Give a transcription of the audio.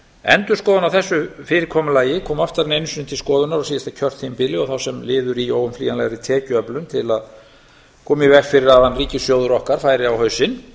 endurskoðun á þessu fyrirkomulagi kom oftar en einu sinni til skoðunar á síðasta kjörtímabili og þá sem liður í óumflýjanlegri tekjuöflun til að koma í veg fyrir að hann ríkissjóður færi á hausinn